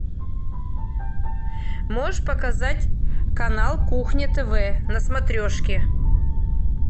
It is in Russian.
можешь показать канал кухня тв на смотрешке